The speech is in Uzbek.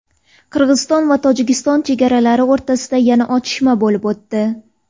Qirg‘iziston va Tojikiston chegarachilari o‘rtasida yana otishma bo‘lib o‘tdi.